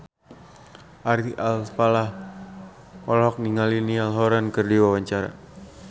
Ari Alfalah olohok ningali Niall Horran keur diwawancara